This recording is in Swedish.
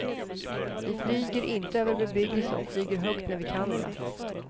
Vi flyger inte över bebyggelse och flyger högt när vi kan det.